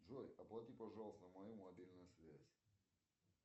джой оплати пожалуйста мою мобильную связь